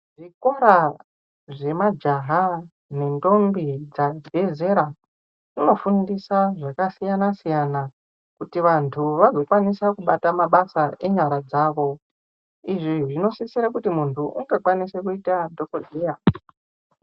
Zvikora zve majaha ne ndombi dzabve zera uno fundisa zvaka siyana siyana kuti vantu vazo kwanisa kubata mabasa enyara dzavo izvi zvino sisira kuti munhu uto kwanise kuita dhokodheya.